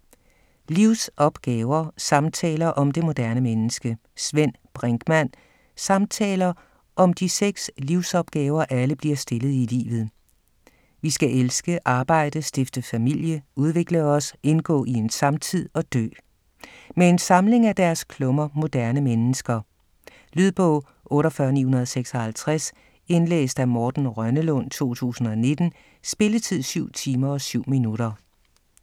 Livsopgaver: samtaler om det moderne menneske Svend Brinkmann Samtaler om de seks livsopgaver, alle bliver stillet i livet: vi skal elske, arbejde, stifte familie, udvikle os, indgå i en samtid og dø. Med en samling af deres klummer "Moderne mennesker". Lydbog 48956 Indlæst af Morten Rønnelund, 2019. Spilletid: 7 timer, 7 minutter.